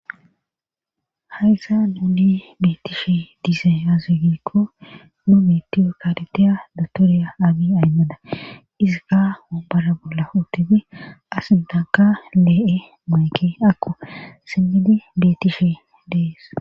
haysan nuuni beetishe dizay aze gikko nu mittiyo kareteya dotoriya aagi aymada izika ombara bolla huutufi asintanka lee7e moeke akko simmidi betishe dees